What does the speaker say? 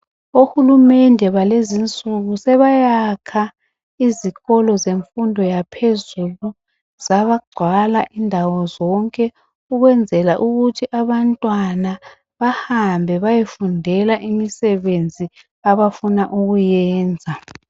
Ohulumende balezi insuku sebayakha izikolo zemfundo yaphezulu zagcwala indawo zonke ukwenzela ukuthi abantwana behambe beyefundele imsebenzi abafuna ukuyiyenza